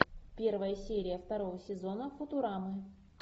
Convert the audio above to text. первая серия второго сезона футурамы